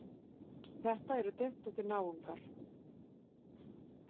Þetta eru dyntóttir náungar.